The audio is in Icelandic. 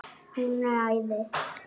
Hún er æði.